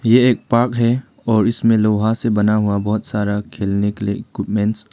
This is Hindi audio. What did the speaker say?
यह एक पार्क है और इसमें लोहा से बना हुआ बहोत सारा खेलने के लिए इक्विपमेंट्स --